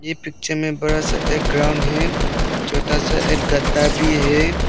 एह पिक्चर में बड़ा सा एक ग्राउंद है छोता सा एक गद्दा भी है।